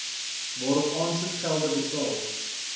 waarop aansoekgelde betaal